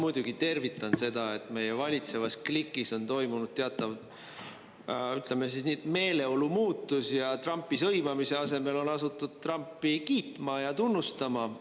Ma muidugi tervitan seda, et meie valitsevas klikis on toimunud teatav, ütleme siis nii, et meeleolu muutus ja Trumpi sõimamise asemel on asutud Trumpi kiitma ja tunnustama.